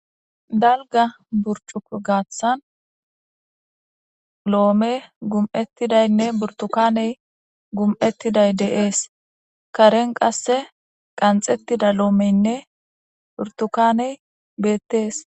Dalga burcuk gaaththan loome gum7ettidaynne burtukaney gum7ettiday deees karen qasse qanxettida loomeynne burtukaney beettees